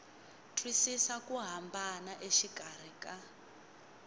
twisisa ku hambana exikarhi ka